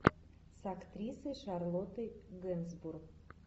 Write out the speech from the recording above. с актрисой шарлоттой генсбур